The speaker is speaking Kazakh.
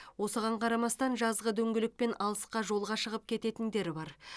осыған қарамастан жазғы дөңгелекпен алысқа жолға шығып кететіндер бар